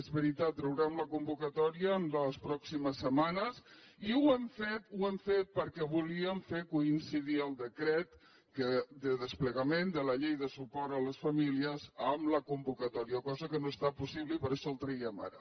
és veritat traurem la convocatòria les prò·ximes setmanes i ho hem fet perquè volíem fer coin·cidir el decret de desplegament de la llei de suport a les famílies amb la convocatòria cosa que no ha estat possible i per això el traiem ara